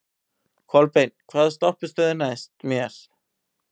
Kolbeinn, hvaða stoppistöð er næst mér?